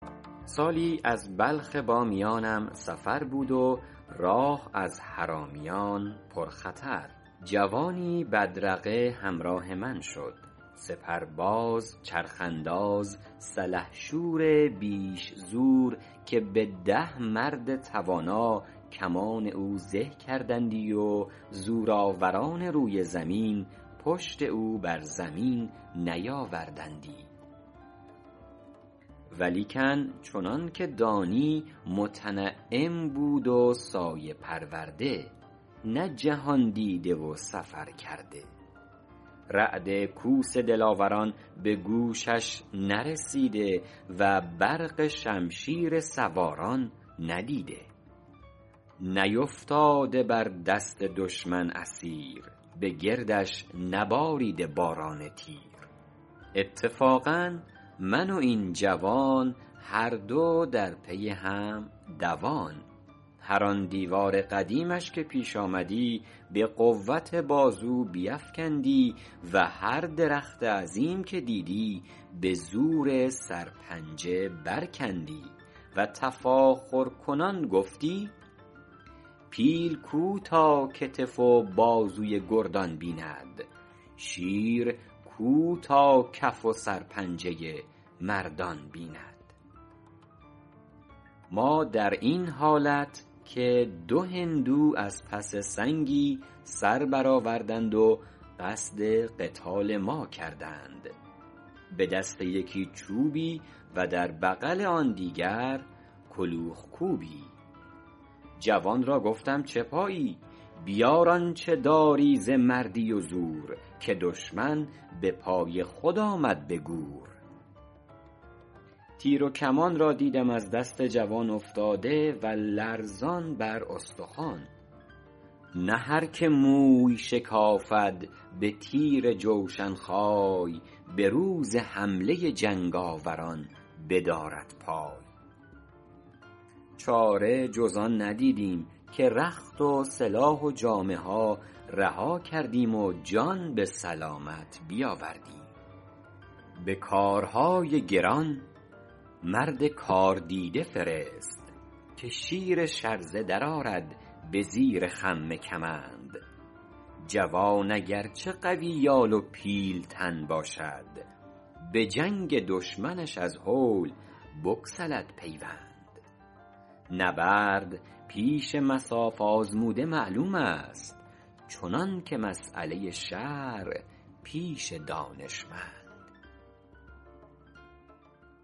سالی از بلخ بامیانم سفر بود و راه از حرامیان پر خطر جوانی به بدرقه همراه من شد سپرباز چرخ انداز سلحشور بیش زور که به ده مرد توانا کمان او زه کردندی و زورآوران روی زمین پشت او بر زمین نیاوردندی ولیکن چنان که دانی متنعم بود و سایه پرورده نه جهاندیده و سفر کرده رعد کوس دلاوران به گوشش نرسیده و برق شمشیر سواران ندیده نیفتاده بر دست دشمن اسیر به گردش نباریده باران تیر اتفاقا من و این جوان هر دو در پی هم دوان هر آن دیوار قدیمش که پیش آمدی به قوت بازو بیفکندی و هر درخت عظیم که دیدی به زور سرپنجه بر کندی و تفاخرکنان گفتی پیل کو تا کتف و بازوی گردان بیند شیر کو تا کف و سر پنجه مردان بیند ما در این حالت که دو هندو از پس سنگی سر بر آوردند و قصد قتال ما کردند به دست یکی چوبی و در بغل آن دیگر کلوخ کوبی جوان را گفتم چه پایی بیار آنچه داری ز مردی و زور که دشمن به پای خود آمد به گور تیر و کمان را دیدم از دست جوان افتاده و لرزه بر استخوان نه هر که موی شکافد به تیر جوشن خای به روز حمله جنگاوران بدارد پای چاره جز آن ندیدیم که رخت و سلاح و جامه ها رها کردیم و جان به سلامت بیاوردیم به کارهای گران مرد کاردیده فرست که شیر شرزه در آرد به زیر خم کمند جوان اگر چه قوی یال و پیلتن باشد به جنگ دشمنش از هول بگسلد پیوند نبرد پیش مصاف آزموده معلوم است چنان که مسأله شرع پیش دانشمند